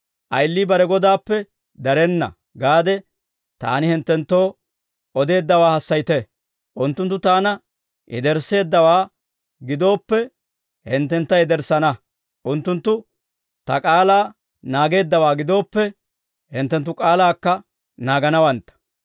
‹Ayilii bare godaappe darenna› gaade Taani hinttenttoo odeeddawaa hassayite. Unttunttu Taana yedersseeddawaa gidooppe, hinttenakka yederssana. Unttunttu Ta k'aalaa naageeddawaa gidooppe, hinttenttu k'aalaakka naaganawantta.